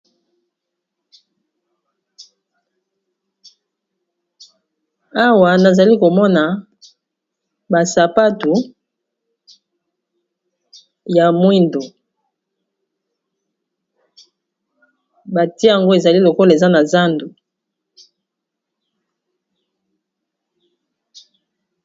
Awa nazali komona ba sapatu ya mwindo batie yango ezali lokola eza na zando.